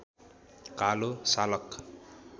कालो सालक